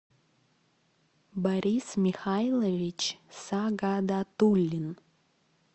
борис михайлович сагадатулин